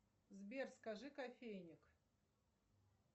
сбер скажи кофейник